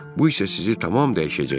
Bu isə sizi tamam dəyişəcək.